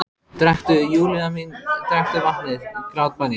Drekktu, Júlía mín, drekktu vatnið, grátbæni ég.